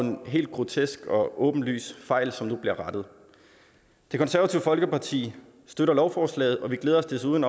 en helt grotesk og åbenlys fejl som nu bliver rettet det konservative folkeparti støtter lovforslaget og vi glæder os desuden